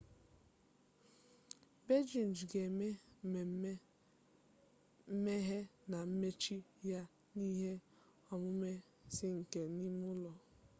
beijing ga-eme mmemme mmeghe na mmechi ya na ihe omume ais nke ime ụlọ